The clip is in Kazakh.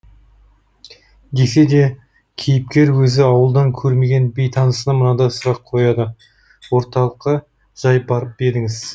десе де кейіпкер өзі ауылдан көрмеген бейтанысына мынадай сұрақ қояды орталыққа жай барып па едіңіз